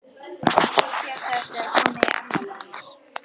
Soffía sagðist vera komin í afmælið hennar